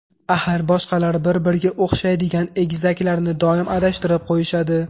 Axir boshqalar bir-biriga o‘xshaydigan egizaklarni doim adashtirib qo‘yishadi.